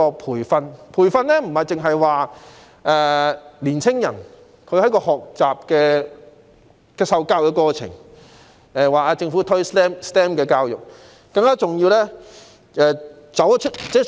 培訓不單針對青年人學習和受教的過程，更重要的是要針對在職人士。